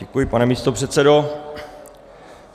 Děkuji, pane místopředsedo.